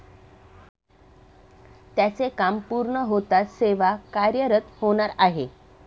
त्याचे काम पूर्ण होताच सेवा कार्यरत होणार आहे.